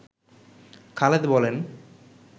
খালেদ বলেন